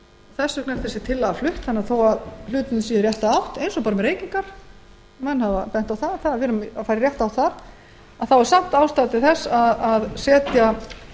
þess vegna er þessi tillaga flutt þó að ýmsir hlutir stefni í rétta átt eins og reykingar sem fara minnkandi er samt ástæða til þess að setja